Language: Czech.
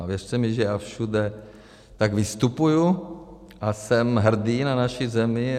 A věřte mi, že já všude tak vystupuji a jsem hrdý na naši zemi.